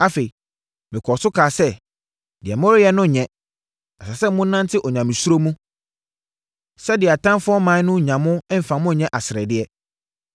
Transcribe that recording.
Afei, mekɔɔ so kaa sɛ, “Deɛ moreyɛ no nyɛ. Ɛsɛ sɛ monante Onyamesuro mu, sɛdeɛ atamfoɔ aman no nnya kwan mfa mo nyɛ aseredeɛ.